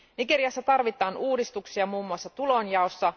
Nigeriassa tarvitaan uudistuksia muun muassa tulonjaossa.